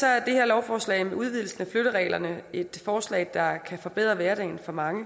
er det her lovforslag en udvidelse af flyttereglerne og et forslag der kan forbedre hverdagen for mange